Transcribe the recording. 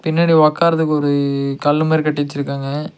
பின்னாடி ஒக்காறதுக்கு ஒரு கல்லு மாரி கட்டி வச்சிருக்காங்க.